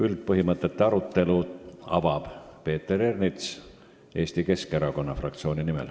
Üldpõhimõtete arutelu avab Peeter Ernits Eesti Keskerakonna fraktsiooni nimel.